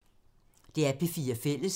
DR P4 Fælles